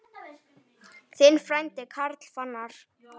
Þinn frændi, Karl Fannar.